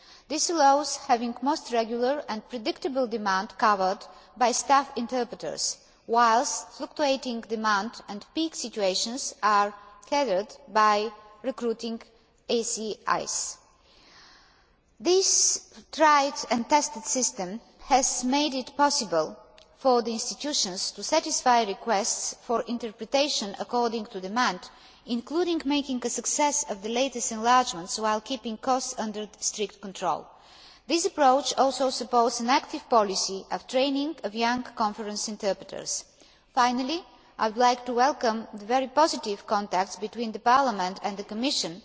This makes it possible to have most regular and predictable demand covered by staff interpreters, whilst fluctuating demand and peak situations are catered for by recruiting AICs. This tried and tested system has made it possible for the institutions to satisfy requests for interpretation according to demand, including making a success of the latest enlargements while keeping costs under strict control. This approach also supports an active policy of training of young conference interpreters. Finally, I would like to welcome the very positive contacts between Parliament and the Commission